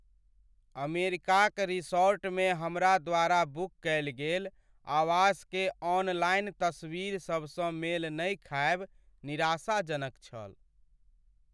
अमेरिकाक रिसॉर्टमे हमरा द्वारा बुक कएल गेल आवासकेँ ऑनलाइन तस्वीरसभसँ मेल नहि खाएब निराशाजनक छल।